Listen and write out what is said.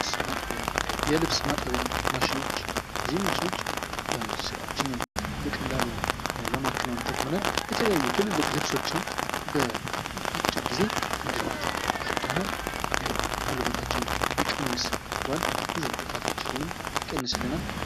የልብስ ማጠቢያ። የልብስ ማጠቢያ ማሽኖች። እነዚህ ማሽኖች ራችንን በቀላሉ ለማከናውን ይጠቅሙናል። የተለያዩ ትልቅ ልብሶችን በአጭር ጊዜ እንድናጥብ ይረዳናል። ይህ ጉልበታችንን ይቀንስልናል ልፋታችንንም ይቀንስልናል።